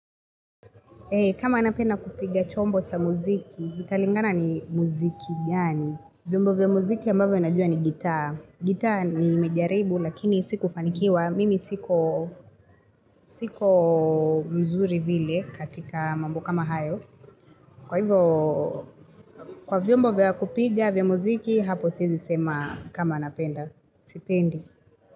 Kama anapenda kupiga chombo cha muziki, italingana ni muziki, gani? Vyombo vya muziki ambavyo ninajua ni gitaa. Gitaa nimejaribu, lakini sikufanikiwa. Mimi siko siko mzuri vile katika mambo kama hayo. Kwa hivyo, kwa vyombo vya kupiga vya muziki, hapo siezi sema kama napenda. Sipendi.